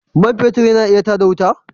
Man fetur yana iya tar da wuta?